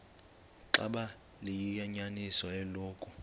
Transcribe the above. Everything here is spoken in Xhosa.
xaba liyinyaniso eloku